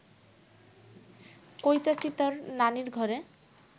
কইতাছি তর নানির ঘরে